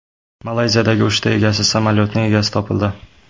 Malayziyadagi uchta egasiz samolyotning egasi topildi.